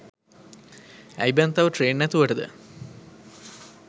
ඇයි බන් තව ට්‍රේන් නැතුවටද